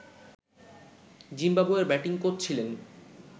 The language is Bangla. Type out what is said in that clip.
জিম্বাবুয়ের ব্যাটিং কোচ ছিলেন